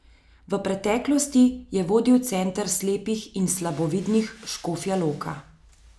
V preteklosti je vodil Center slepih in slabovidnih Škofja Loka.